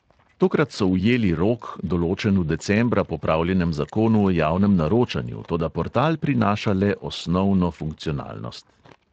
Tokrat so ujeli rok, določen v decembra popravljenem zakonu o javnem naročanju, toda portal prinaša le osnovno funkcionalnost.